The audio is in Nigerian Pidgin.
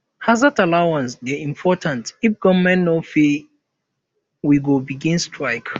hazard allowance dey important if government no pay we go begin strike